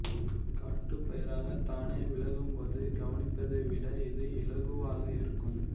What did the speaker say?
காட்டுப் பயிராகத் தானே வளரும்போது கவனிப்பதை விட இது இலகுவாக இருக்கும்